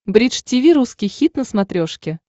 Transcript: бридж тиви русский хит на смотрешке